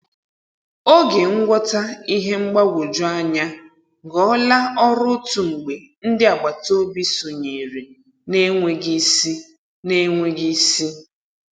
Oge ngwọta ihe mgbagwoju anya ghọọla ọrụ otu mgbe ndị agbataobi sonyere na-enweghị ịsị. na-enweghị ịsị.